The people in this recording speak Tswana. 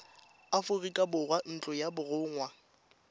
aforika borwa ntlo ya borongwa